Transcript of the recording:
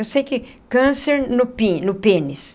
Eu sei que é câncer no pe no pênis.